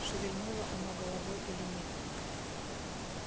шевельнуло оно головой или нет